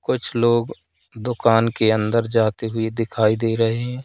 कुछ लोग दुकान के अंदर जाते हुए दिखाई दे रहे हैं।